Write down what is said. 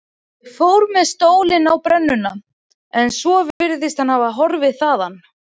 Ég fór með stólinn á brennuna en svo virðist hann hafa horfið þaðan.